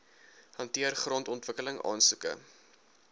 hanteer grondontwikkeling aansoeke